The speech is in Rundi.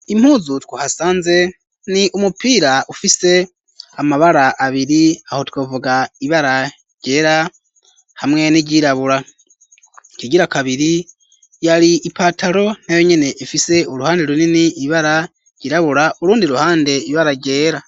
Impuzu twa hasanze ni umupira ufise amabara abiri aho twovuga ibara ryera hamwe n'iryirabura ikigira kabiri yari ipataro nayo nyene ifise uruhande runini ibara ryirabura urundi ruhande ibara ryera.